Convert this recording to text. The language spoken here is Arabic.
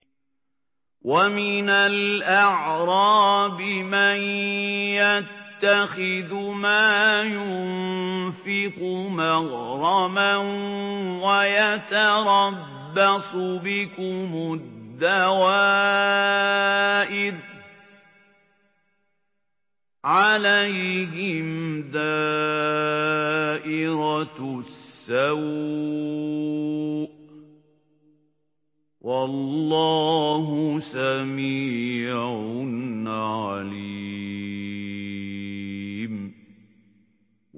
وَمِنَ الْأَعْرَابِ مَن يَتَّخِذُ مَا يُنفِقُ مَغْرَمًا وَيَتَرَبَّصُ بِكُمُ الدَّوَائِرَ ۚ عَلَيْهِمْ دَائِرَةُ السَّوْءِ ۗ وَاللَّهُ سَمِيعٌ عَلِيمٌ